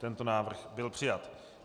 Tento návrh byl přijat.